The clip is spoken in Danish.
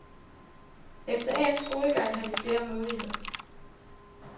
Efter endt skolegang har de flere muligheder.